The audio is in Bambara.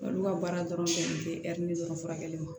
Olu ka baara dɔrɔn bɛnnen tɛ dɔrɔn furakɛli ma